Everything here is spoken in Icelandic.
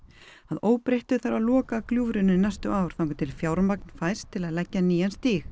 að óbreyttu þarf að loka gljúfrinu næstu ár þangað til fjármagn fæst til að leggja nýjan stíg